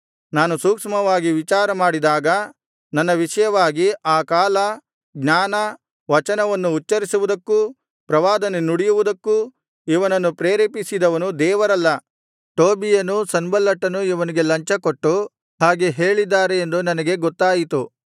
ನಾನು ಸೂಕ್ಷ್ಮವಾಗಿ ವಿಚಾರ ಮಾಡಿದಾಗ ನನ್ನ ವಿಷಯವಾಗಿ ಆ ಕಾಲ ಜ್ಞಾನ ವಚನವನ್ನು ಉಚ್ಚರಿಸುವುದಕ್ಕೂ ಪ್ರವಾದನೆ ನುಡಿಯುವುದಕ್ಕೂ ಇವನನ್ನು ಪ್ರೇರೇಪಿಸಿದವನು ದೇವರಲ್ಲ ಟೋಬೀಯನೂ ಸನ್ಬಲ್ಲಟನೂ ಇವನಿಗೆ ಲಂಚ ಕೊಟ್ಟು ಹಾಗೆ ಹೇಳಿದ್ದಾರೆ ಎಂದು ನನಗೆ ಗೊತ್ತಾಯಿತು